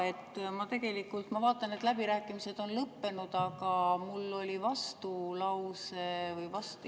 Jaa, ma tegelikult vaatan, et läbirääkimised on lõppenud, aga mul oli vastulause või vastu …